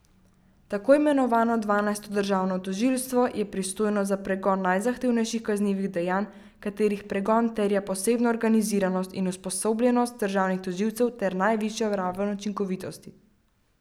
Tako imenovano dvanajsto državno tožilstvo je pristojno za pregon najzahtevnejših kaznivih dejanj, katerih pregon terja posebno organiziranost in usposobljenost državnih tožilcev ter najvišjo raven učinkovitosti.